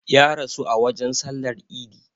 Ya rasu a wajen sallar idi